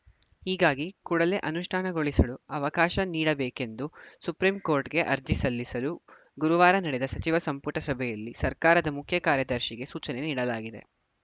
ಹೀಗಾಗಿ ಕೂಡಲೇ ಅನುಷ್ಠಾನಗೊಳಿಸಲು ಅವಕಾಶ ನೀಡಬೇಕು ಎಂದು ಸುಪ್ರೀಂಕೋರ್ಟ್‌ಗೆ ಅರ್ಜಿ ಸಲ್ಲಿಸಲು ಗುರುವಾರ ನಡೆದ ಸಚಿವ ಸಂಪುಟ ಸಭೆಯಲ್ಲಿ ಸರ್ಕಾರದ ಮುಖ್ಯ ಕಾರ್ಯದರ್ಶಿಗೆ ಸೂಚನೆ ನೀಡಲಾಗಿದೆ